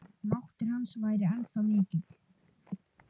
Máttur hans væri ennþá mikill.